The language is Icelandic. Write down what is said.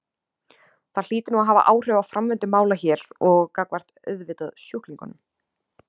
Það hlýtur nú að hafa áhrif á framvindu mála hér og gagnvart auðvitað sjúklingum?